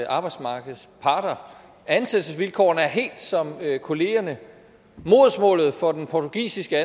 arbejdsmarkedets parter ansættelsesvilkårene er helt som kollegernes modersmålet for den portugisiske